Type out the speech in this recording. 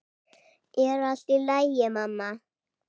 Er allt í lagi, mamma?